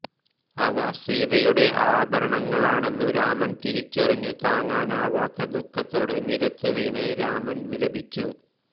അവ സീതയുടെ ആഭരങ്ങളാണെന്നു രാമൻ തിരിച്ചറിഞ്ഞു താങ്ങാനാവാത്ത ദുഃഖത്തോടെ നിലത്തുവീണു രാമൻ വിലപിച്ചു